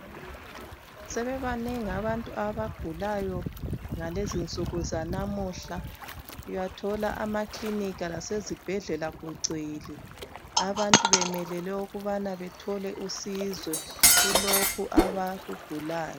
Sebebanengi abantu abagulayo ngalezinsuku zanamuhla uyathola amakilinika lasezibhedlela kugcwele abantu bemelele ukubana bethole usizo kulokhu abakugulayo.